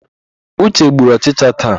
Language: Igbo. Uche gburu ọchịcha taa.